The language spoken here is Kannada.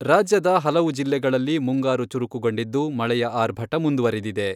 ರಾಜ್ಯದ ಹಲವು ಜಿಲ್ಲೆಗಳಲ್ಲಿ ಮುಂಗಾರು ಚುರುಕುಗೊಂಡಿದ್ದು, ಮಳೆಯ ಆರ್ಭಟ ಮುಂದುವರೆದಿದೆ.